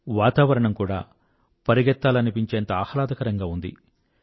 వాతావరణం కూడా పరిగెత్తాలనిపిచేంత ఆహ్లాదకరంగా ఉంది